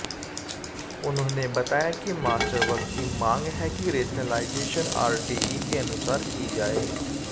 उन्होंने बताया कि मास्टर वर्ग की मांग है कि रेशनेलाइजेशन आरटीई के अनुसार की जाए